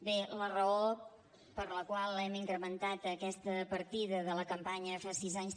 bé la raó per la qual hem incrementat aquesta partida de la campanya fas sis anys